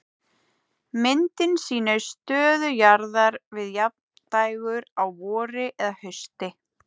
Myndin sýnir stöðu jarðar við jafndægur á vori eða hausti.